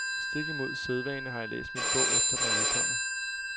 Stik imod sædvane har jeg læst min bog, efter den er udkommet.